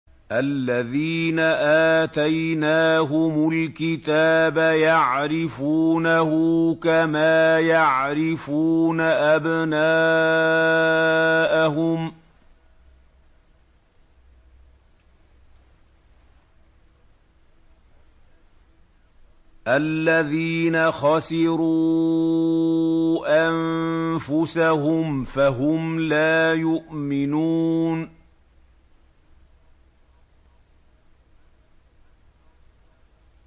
الَّذِينَ آتَيْنَاهُمُ الْكِتَابَ يَعْرِفُونَهُ كَمَا يَعْرِفُونَ أَبْنَاءَهُمُ ۘ الَّذِينَ خَسِرُوا أَنفُسَهُمْ فَهُمْ لَا يُؤْمِنُونَ